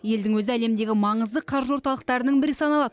елдің өзі әлемдегі маңызды қаржы орталықтарының бірі саналады